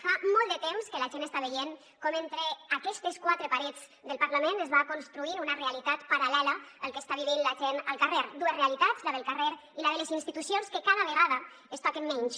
fa molt de temps que la gent està veient com entre aquestes quatre parets del parlament es va construint una realitat paral·lela al que està vivint la gent al carrer dues realitats la del carrer i la de les institucions que cada vegada es toquen menys